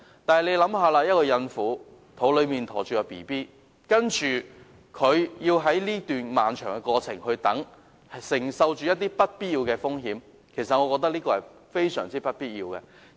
大家試想想，懷着嬰孩的孕婦要在這段漫長的過程中等候，承受不必要的風險，我認為是非常沒有必要的。